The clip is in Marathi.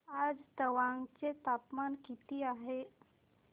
आज तवांग चे तापमान किती आहे